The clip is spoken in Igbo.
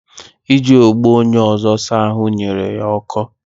Iji ogbo onye ọzọ saa ahụ nyere ya ọkọ